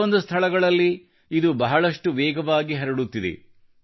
ಕೆಲವೊಂದು ಸ್ಥಳಗಳಲ್ಲಿ ಇದು ಬಹಳಷ್ಟು ವೇಗವಾಗಿ ಹರಡುತ್ತಿದೆ